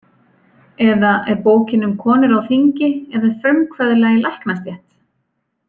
Eða er bókin um konur á þingi eða frumkvöðla í læknastétt?